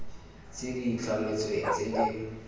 tse di itlhametsweng tse di